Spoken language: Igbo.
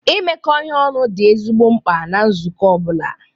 Imekọ ihe ọnụ dị ezigbo mkpa na nzukọ ọ bụla.